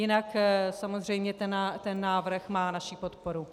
Jinak samozřejmě ten návrh má naši podporu.